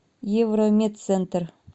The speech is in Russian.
евромедцентр